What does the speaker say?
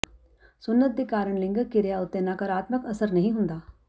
ਸੁੰਨਤ ਦੇ ਕਾਰਨ ਲਿੰਗਕ ਕਿਰਿਆ ਉੱਤੇ ਨਕਾਰਾਤਮਕ ਅਸਰ ਨਹੀਂ ਹੁੰਦਾ